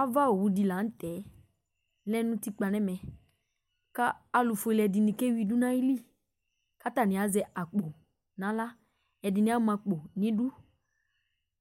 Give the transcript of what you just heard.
Ava owu di la ntɛ lɛ nʋ ʋtikpa nʋ ɛmɛ kʋ alʋfʋele ɛdiní kewidu nʋ ayìlí kʋ atani azɛ akpo nʋ aɣla Ɛdiní ama akpo nʋ idu